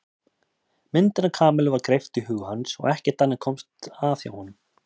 Myndin af Kamillu var greipt í huga hans og ekkert annað komst að hjá honum.